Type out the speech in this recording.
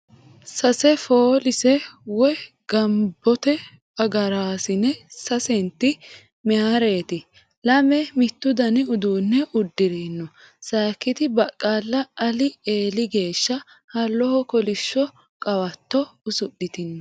Sase foolise woyi ga'labbote agaraasine sasenti mayeereeti lame mittu Dani uddanna uddirino sayikkiti baqqala Ali eeli geeshsha halloho kolishsho qawatto usidhitino .